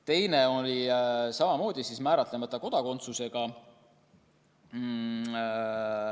Teine isik oli samamoodi määratlemata kodakondsusega.